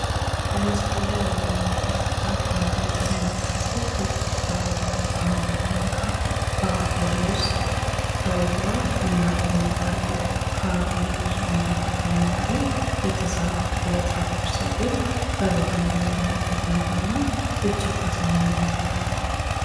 በምስሉ ላይ የምንመለከታት አንድት እንስት ሴት እጅግ ቸውባና አምራ ደምቃ በሀገር ልብስ ተውባ እናገኛታለን። ከሀገር ልብስ በተጨማሪ የተሰራችው የጸጉር ስሪት በባህላዊ መንገድ መሆኑ እጅግ አሳምሯታል